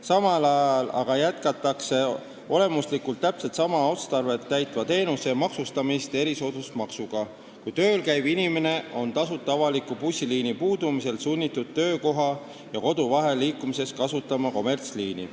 Samal ajal aga jätkatakse olemuslikult täpselt sama otstarvet täitva teenuse maksustamist erisoodustusmaksuga, kui tööl käiv inimene on tasuta avaliku bussiliini puudumisel sunnitud töökoha ja kodu vahel liikumiseks kasutama kommertsliini.